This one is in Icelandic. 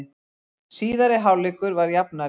Síðari hálfleikur var jafnari